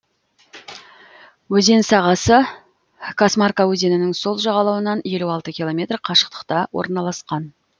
өзен сағасы касмарка өзенінің сол жағалауынан елу алты километр қашықтықта орналасқан